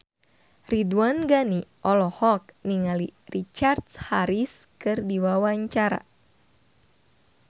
Ridwan Ghani olohok ningali Richard Harris keur diwawancara